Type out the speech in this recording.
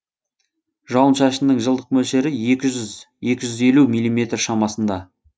жауын шашынның жылдық мөлшері екі жүз екі жүз елу миллиметр шамасында